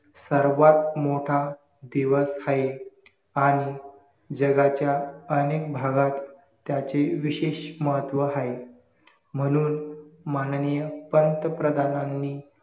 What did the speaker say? सर्वात मोठा दिवस हाये आणि जगाच्या अनेक भागात त्याचे विशेष महत्व हाये म्हणून माननीय पंतप्रधानांनी